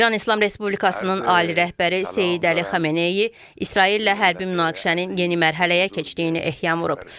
İran İslam Respublikasının ali rəhbəri Seyid Əli Xamenei İsraillə hərbi münaqişənin yeni mərhələyə keçdiyini ehtiyam vurub.